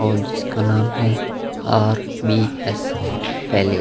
और जिसका नाम है आर.बी.एस. --